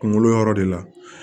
Kunkolo yɔrɔ de la